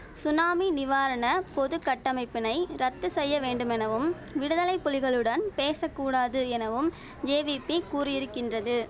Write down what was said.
tsunami நிவாரண பொது கட்டமைப்பினை ரத்து செய்ய வேண்டுமெனவும் விடுதலை புலிகளுடன் பேச கூடாது எனவும் ஜேவிபி கூறியிருக்கின்றது